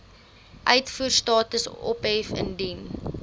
uitvoerstatus ophef indien